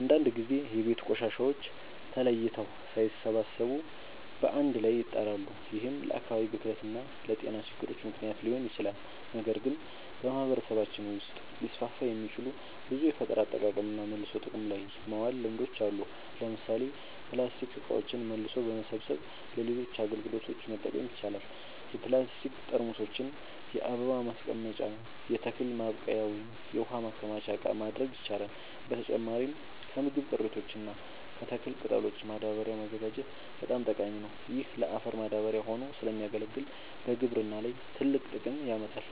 አንዳንድ ጊዜ የቤት ቆሻሻዎች ተለይተው ሳይሰበሰቡ በአንድ ላይ ይጣላሉ፤ ይህም ለአካባቢ ብክለት እና ለጤና ችግሮች ምክንያት ሊሆን ይችላል። ነገር ግን በማህበረሰባችን ውስጥ ሊስፋፉ የሚችሉ ብዙ የፈጠራ አጠቃቀምና መልሶ ጥቅም ላይ ማዋል ልምዶች አሉ። ለምሳሌ ፕላስቲክ እቃዎችን መልሶ በመሰብሰብ ለሌሎች አገልግሎቶች መጠቀም ይቻላል። የፕላስቲክ ጠርሙሶችን የአበባ ማስቀመጫ፣ የተክል ማብቀያ ወይም የውሃ ማከማቻ እቃ ማድረግ ይቻላል። በተጨማሪም ከምግብ ቅሪቶች እና ከተክል ቅጠሎች ማዳበሪያ ማዘጋጀት በጣም ጠቃሚ ነው። ይህ ለአፈር ማዳበሪያ ሆኖ ስለሚያገለግል በግብርና ላይ ትልቅ ጥቅም ያመጣል።